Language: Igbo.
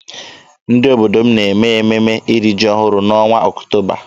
Ndị obodo m na-eme ememe iri ji ọhụrụ n'ọnwa Ọktoba.